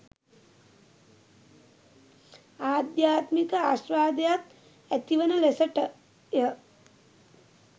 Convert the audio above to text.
අධ්‍යාත්මික ආශ්වාදයත් ඇතිවන ලෙසටය.